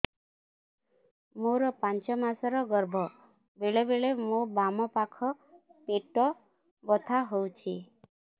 ମୋର ପାଞ୍ଚ ମାସ ର ଗର୍ଭ ବେଳେ ବେଳେ ମୋ ବାମ ପାଖ ପେଟ ବଥା ହଉଛି